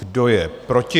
Kdo je proti?